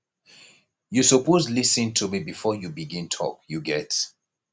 you suppose lis ten to me before you begin tok you get